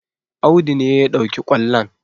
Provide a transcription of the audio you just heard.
Audu ne ya ɗauki ƙwallon